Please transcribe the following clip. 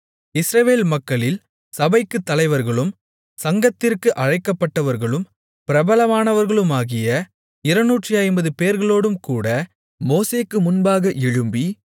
இஸ்ரவேல் மக்களில் சபைக்குத் தலைவர்களும் சங்கத்திற்கு அழைக்கப்பட்டவர்களும் பிரபலமானவர்களுமாகிய 250 பேர்களோடும் கூட மோசேக்கு முன்பாக எழும்பி